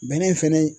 Bɛnɛ fɛnɛ